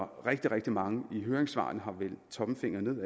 rigtig rigtig mange i høringssvarene har vendt tommelfingeren